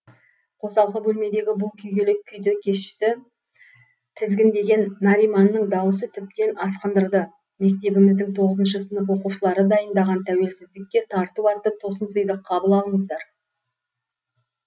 қосалқы бөлмедегі бұл күйгелек күйді кешті тізгіндеген нариманның даусы тіптен асқындырды мектебіміздің тоғызыншы сынып оқушылары дайындаған тәуелсіздіке тарту атты тосын сыйды қабыл алыңыздар